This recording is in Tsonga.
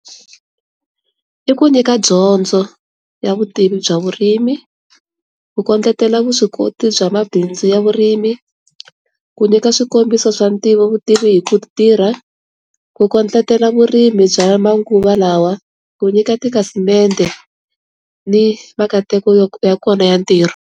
I ku nyika dyondzo ya vutivi bya vurimi, ku kondletela vuswikoti bya mabindzu ya vurimi, ku nyika swikombiso swa ntivo vutivi hi ku tirha, ku kondletela vurimi bya manguva lawa, ku nyika tikhasimende ni makateko ya kona ya ntirho.